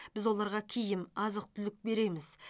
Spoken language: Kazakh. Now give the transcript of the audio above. біз оларға киім азық түлік береміз